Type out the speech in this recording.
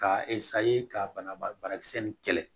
Ka ka banabakisɛ nin kɛlɛ